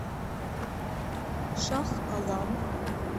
шах алам